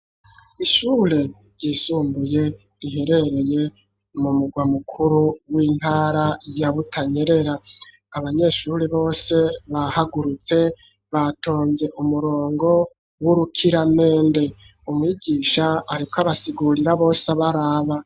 Ishure ryisumbuye riherereye mu mugwa mukuru w'intara ya Butanyerera, abanyeshuri bose bahagurutse batonze umurongo w'urukiramende, umwigisha ariko abasigurira bose baraba.